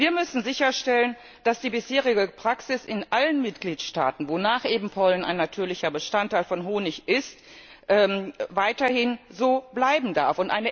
Wir müssen sicherstellen, dass die bisherige Praxis in allen Mitgliedstaaten, wonach eben Pollen ein natürlicher Bestandteil von Honig ist, weiterhin so bleiben darf.